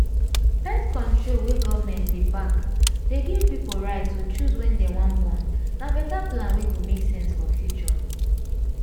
birth-control wey government dey back dey give pipo right to choose wen dem wan born na better plan wey go make sense for future